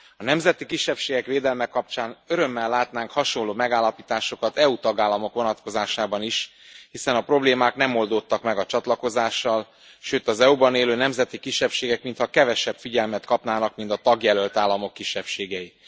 A nemzeti kisebbségek védelme kapcsán örömmel látnánk hasonló megállapításokat EU tagállamok vonatkozásában is, hiszen a problémák nem oldódtak meg a csatlakozással, sőt, az EU ban élő nemzeti kisebbségek mintha kevesebb figyelmet kapnának, mint a tagjelölt államok kisebbségei.